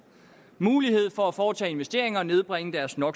mulighed for at foretage investeringer og nedbringe deres no